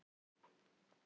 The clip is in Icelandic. Að fá að tilheyra um jólin